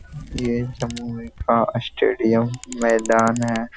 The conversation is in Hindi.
ये जमुई का स्टेडियम मैदान है ।